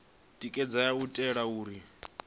tikedzaho u itela uri hu